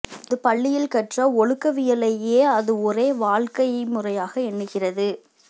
அது பள்ளியில் கற்ற ஒழுக்கவியலையே அது ஒரே வாழ்க்கைமுறையாக எண்ணுகிறது